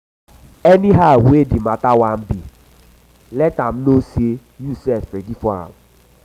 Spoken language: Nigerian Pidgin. anyhow wey anyhow wey di mata wan be let am no sey yu sef ready for am